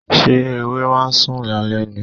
Ṣé ewé ma ń sùn lálẹ́ ni?